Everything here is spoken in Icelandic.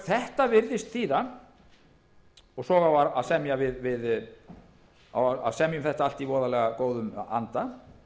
það er bara þannig og svo á að semja um þetta allt í voðalegum góðum anda